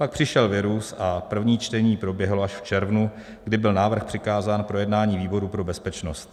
Pak přišel virus a první čtení proběhlo až v červnu, kdy byl návrh přikázán k projednání výboru pro bezpečnost.